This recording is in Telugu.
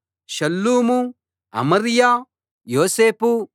షల్లూము అమర్యా యోసేపు